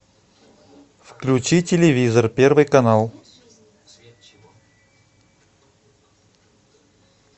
включи телевизор первый канал